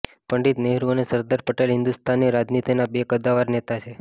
પંડિત નહેરુ અને સરદાર પટેલ હિંદુસ્તાનની રાજનીતિના બે કદ્દાવર નેતા છે